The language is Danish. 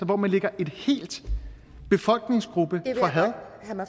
hvor man lægger en hel befolkningsgruppe for had